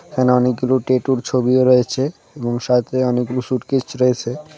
এখানে অনেকগুলো ট্যাটুর ছবিও রয়েছে এবং সাথে অনেকগুলো সুটকেচ রয়েছে .